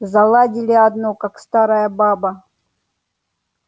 заладили одно как старая баба